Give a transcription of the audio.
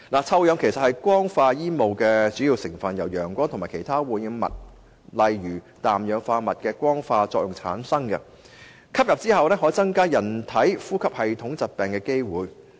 臭氧其實是光化煙霧的主要成分，由陽光和其他污染物的光化作用產生，吸入後可增加人類患上呼吸系統疾病的機會。